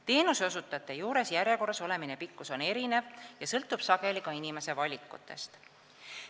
Teenuseosutajate juures järjekorras olemise aeg on erinev ja sõltub sageli ka inimese valikutest.